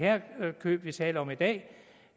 køb vi taler om i dag